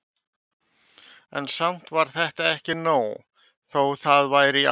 En samt var þetta ekki nóg, þó það væri í áttina.